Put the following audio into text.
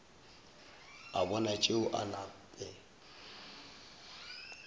a bona tšeo a nape